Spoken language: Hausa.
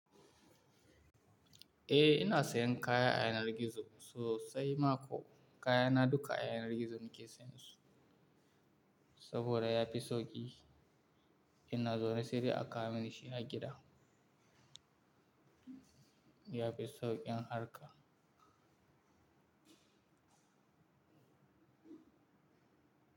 Eh ina sayan kaya a yanar gizo sosai ma ko kayana duka a yanar gizo nake sayan su saboda yafi sauƙi. Ina zaune se dai a kawo mini shi har gida. Yafi sauƙin harka.